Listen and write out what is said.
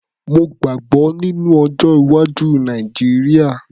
Mo gbàgbọ́ nínú ọjọ́-iwájú Nàìjíríà.